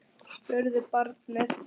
spurði barnið.